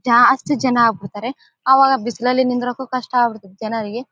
ಜಾಸ್ತಿ ಜನ ಆಗ ಬಿಡ್ತಾರೆ ಅವಾಗ ಬಿಸಿಲಲ್ಲಿ ನಿಂದ್ರಕ್ಕೂ ಕಷ್ಟ ಆಗ್ಬಿಡ್ತದೆ ಜನರಿಗೆ.